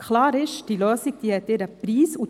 Klar ist: Diese Lösung hat ihren Preis.